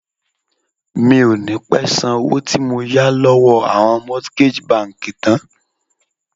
Mi ò ní pé san owó tí mo yà lọ́wọ́ àwọn mortgage bank tán.